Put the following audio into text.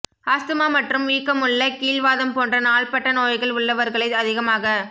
asthma மற்றும் வீக்கமுள்ள கீல்வாதம் போன்ற நாள்பட்ட நோய்கள் உள்ளவா்களை அதிகமாகப்